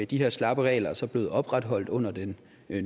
de her slappe regler er så blevet opretholdt under den